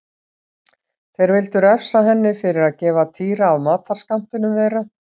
Þeir vildu refsa henni fyrir að gefa Týra af matarskammtinum þeirra.